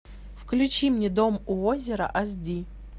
включи мне дом у озера аш ди